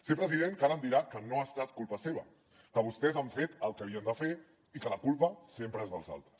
sé president que ara em dirà que no ha estat culpa seva que vostès han fet el que havien de fer i que la culpa sempre és dels altres